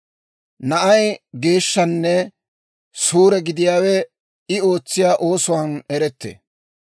Na'ay geeshshanne suure gidiyaawe I ootsiyaa oosuwaan erettee.